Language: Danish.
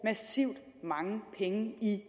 massivt mange penge i